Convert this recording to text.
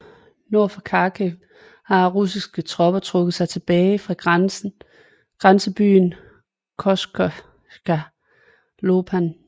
Nord for Kharkiv har russiske tropper trukket sig tilbage fra grænsebyen Kosatscha Lopan